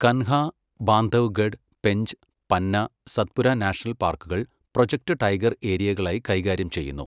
Kanha, Bandhavgarh, Pench, Panna, Satpura national പാർക്കുകൾ project tiger ഏരിയകളായി കൈകാര്യം ചെയ്യുന്നു.